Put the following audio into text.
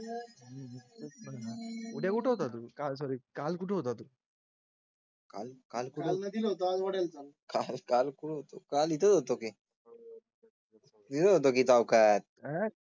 उद्या कुठं होता तू सॉरी काल कुठे होता तू? काल काळ होतो. काल इथं होतो की. विरूद्ध चौकात आहे.